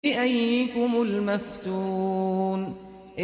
بِأَييِّكُمُ الْمَفْتُونُ